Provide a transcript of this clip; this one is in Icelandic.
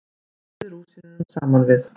Blandið rúsínunum saman við.